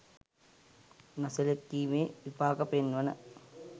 නොසැලකීමේ විපාක පෙන්වන.